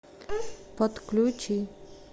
подключи